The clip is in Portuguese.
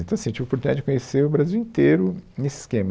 Então assim, eu tive oportunidade de conhecer o Brasil inteiro nesse esquema.